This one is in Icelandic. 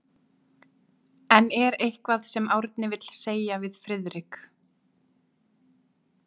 En er eitthvað sem Árni vill segja við Friðrik?